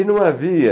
E não havia...